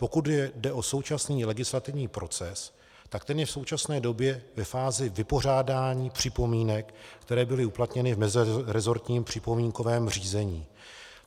Pokud jde o současný legislativní proces, tak ten je v současné době ve fázi vypořádání připomínek, které byly uplatněny v meziresortním připomínkovém řízení.